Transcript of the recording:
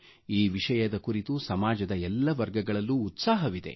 ಈ ವಿಷಯದ ಕುರಿತು ಸಮಾಜದ ಎಲ್ಲ ವರ್ಗಗಳಲ್ಲೂ ಉತ್ಸಾಹವಿದೆ